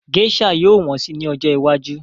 Gésà yóò wọ́n si ní ọjọ́ iwájú